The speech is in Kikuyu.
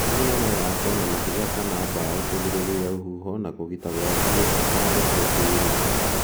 Mĩena no yakwo na mahiga kana mbaũ kũgirĩria rũhuho na kũgita gwaku gũtikareke kure